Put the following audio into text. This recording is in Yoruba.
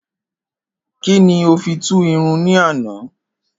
Kín ni o fi tú irun ní ànàá?